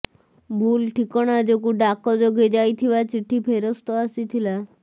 ଭୁଲ ଠିକଣା ଯୋଗୁଁ ଡାକ ଯୋଗେ ଯାଇଥିବା ଚିଠି ଫେରସ୍ତ ଆସିଥିଲା